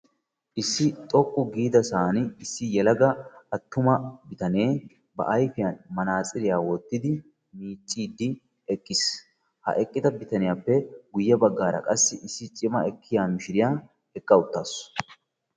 Issi xoqqu giidasaan issi yelaga attuma bitanee ba ayfiyaa manaatsiriyaa wottidi miiccidi eqqiis. ha eqqida bitaniyaappe guye baggara qassi cima ekkiyaa mishiriyaa eqqa uuttaasu.